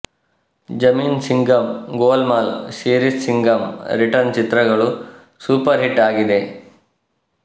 ಜಮೀನ್ Singham Golmaal series Singham return ಚಿತ್ರಗಳು super hit ಆಗಿದೆ